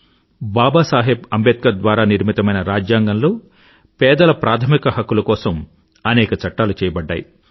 బాబా సాహెబ్ అంబేద్కర్ ద్వారా నిర్మితమైన రాజ్యాంగంలో పేదల ప్రాధమిక హక్కుల కోసం అనేక చట్టాలు చేయబడ్డాయి